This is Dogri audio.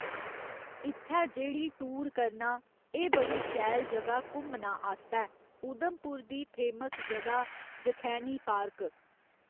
इत्थै जेह्ड़ी टूर करना, एह् बड़ी शैल जगहा घुम्मना आस्तै उधमपुर दी फेमस जगहा जखैनी पार्क